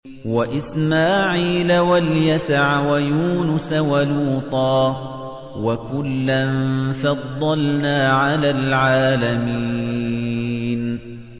وَإِسْمَاعِيلَ وَالْيَسَعَ وَيُونُسَ وَلُوطًا ۚ وَكُلًّا فَضَّلْنَا عَلَى الْعَالَمِينَ